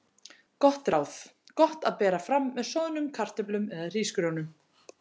Gott ráð: Gott að bera fram með soðnum kartöflum eða hrísgrjónum.